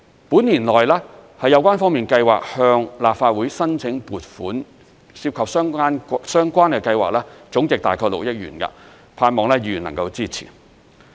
本年內，有關方面計劃向立法會申請撥款，涉及的相關計劃總值約6億元，我盼望議員能夠支持。